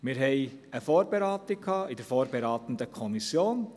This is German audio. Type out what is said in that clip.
Wir hatten eine Vorberatung in der vorberatenden Kommission.